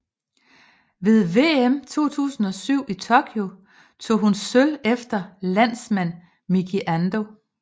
Ved VM 2007 i Tokyo tog hun sølv efter landsmand Miki Ando